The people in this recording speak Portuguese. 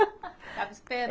Estava esperando.